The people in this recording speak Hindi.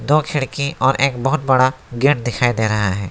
दो खिड़की और एक बहुत बड़ा गेट दिखाई दे रहा है।